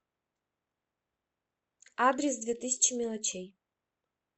адрес две тысячи мелочей